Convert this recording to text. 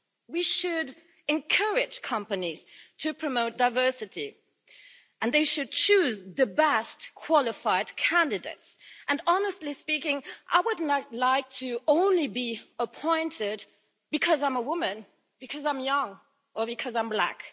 We should encourage companies to promote diversity and they should choose the best qualified candidates, and honestly speaking, I would not like to be appointed only because I'm a woman, because I'm young or because I'm black.